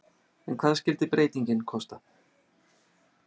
En hvað skyldi breytingin kosta?